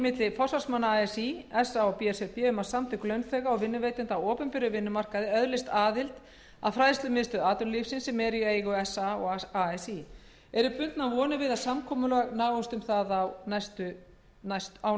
milli forsvarsmanna así sa og b s r b um að samtök launþega og vinnuveitenda á opinberum vinnumarkaði öðlist aðild að fræðslumiðstöð atvinnulífsins sem er í eigu sa og así eru bundnar vonir við að samkomulag náist um það á